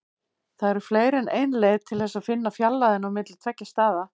Það eru fleiri en ein leið til þess að finna fjarlægðina á milli tveggja staða.